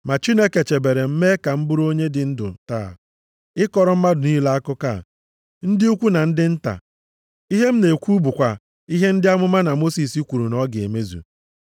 Ma Chineke chebere m mee ka m bụrụ onye dị ndụ taa, ịkọrọ mmadụ niile akụkọ a, ndị ukwu na ndị nta. Ihe m na-ekwu bụkwa ihe ndị amụma na Mosis kwuru na ọ ga-emezu,